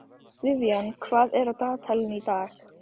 Vivian, hvað er á dagatalinu í dag?